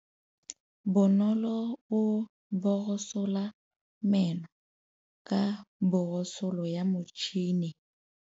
Bonolô o borosola meno ka borosolo ya motšhine.